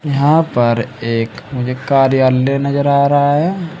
यहां पर एक मुझे कार्यालय नजर आ रहा है।